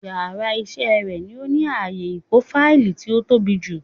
Yàrá isé rè ni ó ní ààyè ìkó fáìlì tí ó tóbi jù